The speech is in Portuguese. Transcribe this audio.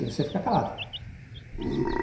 E você fica calado.